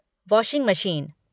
washing machine